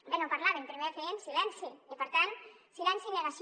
bé no parlaven primer feien silenci i per tant silenci i negació